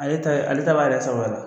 Ale ta ye ale ta b'a yɛrɛ sagoya la.